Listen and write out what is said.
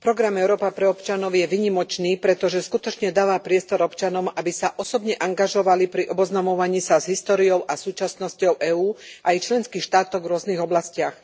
Program Európa pre občanov je výnimočný, pretože skutočne dáva priestor občanom, aby sa osobne angažovali pri oboznamovaní sa s históriou a súčasnosťou EÚ a jej členských štátov v rôznych oblastiach.